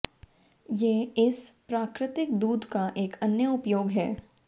ये इस प्राकृतिक दूध का एक अन्य उपयोग है